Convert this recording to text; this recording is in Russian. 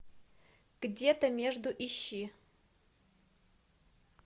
где то между ищи